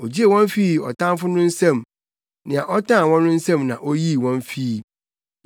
Ogyee wɔn fii ɔtamfo no nsam; nea ɔtan wɔn no nsam na oyii wɔn fii.